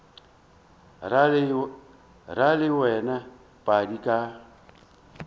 ra le wena padi ka